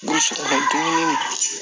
Gosi